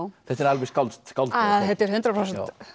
þetta er alveg skáldað sko þetta er hundrað prósent